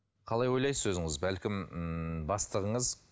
қалай ойлайсыз өзіңіз бәлкім ммм бастығыңыз